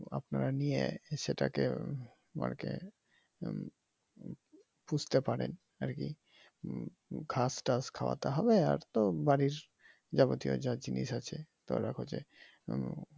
আপনারা নিয়ে সেটাকে বাড়িতে পুষতে পারেন আর কি ঘাসটাস খাওয়াতে হবে আর তো বাড়ির যাবতীয় যা জিনিস আছে ধরে রাখো যে